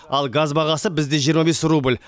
ал газ бағасы бізде жиырма бес рубль